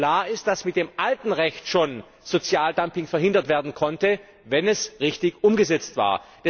Klar ist, dass mit dem alten Recht schon Sozialdumping verhindert werden konnte, wenn es richtig umgesetzt war.